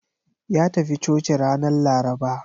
Ya tafi coci ranar Laraba.